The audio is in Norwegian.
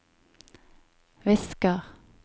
visker